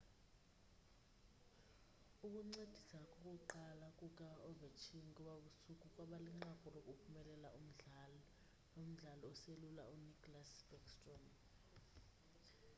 ukuncedisa kokuqala kuka-ovechkin ngobabusuku kwabalinqaku lokuphumelela umdlalo lomdlali oselula u-nicklas backstrom